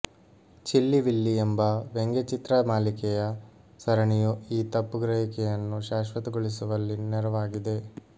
chilli Willy ಎಂಬ ವ್ಯಂಗ್ಯಚಿತ್ರ ಮಾಲಿಕೆಯ ಸರಣಿಯು ಈ ತಪ್ಪುಗ್ರಹಿಕೆಯನ್ನು ಶಾಶ್ವತಗೊಳಿಸುವಲ್ಲಿ ನೆರವಾಗಿದೆ